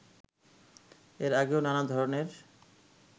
এর আগেও নানা ধরণের